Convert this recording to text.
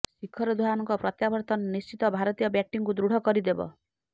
ଶିଖର ଧାଓ୍ବନଙ୍କ ପ୍ରତ୍ୟାବର୍ତନ ନିଶ୍ଚିତ ଭାରତୀୟ ବ୍ୟାଟିଂକୁ ଦୃଢ଼ କରିଦେବ